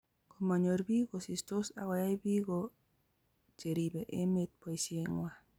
komanyor biik kosistos akoyai Biko cheribe emet boisiengwai